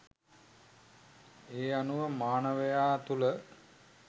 මේ අනුව මානවයා තුළ